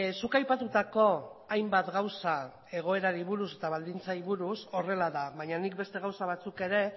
zuk aipatutako hainbat gauza egoerari buruz eta baldintzei buruz horrela da baina nik beste gauza batzuk ere